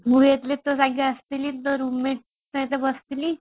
ମୁଁ 1 ରେ ତୋ ସାଙ୍ଗେ ଆସିଥିଲି site ରେ ବସିଥିଲି |